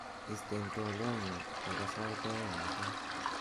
isten twolyotnyun nebo sait oeng mutai